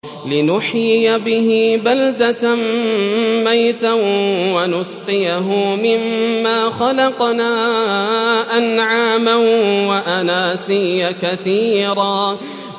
لِّنُحْيِيَ بِهِ بَلْدَةً مَّيْتًا وَنُسْقِيَهُ مِمَّا خَلَقْنَا أَنْعَامًا وَأَنَاسِيَّ كَثِيرًا